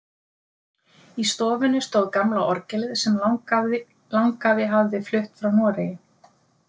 Í stofunni stóð gamla orgelið sem langafi hafði flutt frá Noregi.